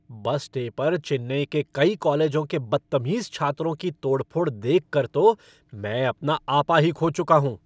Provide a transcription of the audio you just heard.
बस डे पर चेन्नई के कई कॉलेजों के बद्तमीज़ छात्रों की तोड़फोड़ देखकर तो मैं अपना आपा ही खो चुका हूँ।